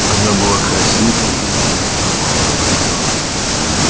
она была красива и сознавала это